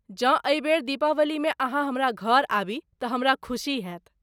जँ एहि बेर दीपावली मे अहाँ हमरा घर आबी तऽ हमरा खुशी हैत